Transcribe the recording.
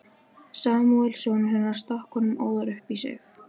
Samúel sonur hennar stakk honum óðar upp í sig.